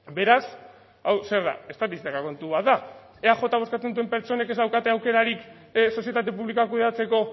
beraz hau zer da estatistika kontu bat da eajn bozkatzen duten pertsonek ez daukate aukerarik sozietate publikoa kudeatzeko